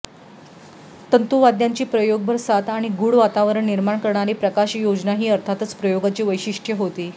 तंतुवाद्यांची प्रयोगभर साथ आणि गूढ वातावरण निर्माण करणारी प्रकाशयोजना ही अर्थातच प्रयोगाची वैशिष्टय़े होती